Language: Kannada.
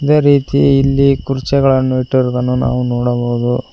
ಇದೇ ರೀತಿ ಇಲ್ಲಿ ಕುರ್ಚಗಳನ್ನು ಇಟ್ಟಿರುವುದನ್ನು ನಾವು ನೋಡಬಹುದು.